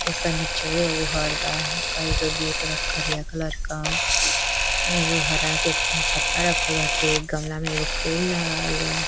इ कने चुए वो घर बा कई क गेट बा करिया कलर का एगो हरा के छत्ता रखल बाटे। गमला में एगो फूल लगवालबा।